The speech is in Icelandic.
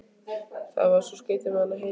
Það var svo skrýtið með hana Heiðu.